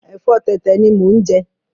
Ẹ̀fọ́ tẹ̀tẹ̀ ni mo ń jẹ